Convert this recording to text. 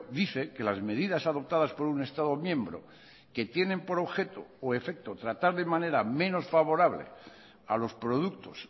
dice que las medidas adoptadas por un estado miembro que tienen por objeto o efecto tratar de manera menos favorable a los productos